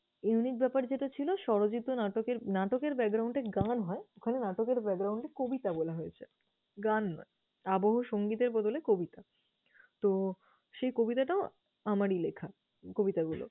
unique ব্যাপার যেটা ছিল স্বরচিত নাটকের নাটকের এ গান হয় ওখানে নাটকের এ কবিতা বলা হয়েছে, গান নয়। আবহ সংগীতের বদলে কবিতা। তো সেই কবিতাটাও আমারই লিখা, কবিতাগুলো